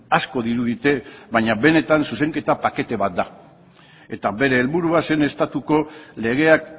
asko dirudite baina benetan zuzenketa pakete bat da eta bere helburua zen estatuko legeak